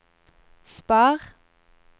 spar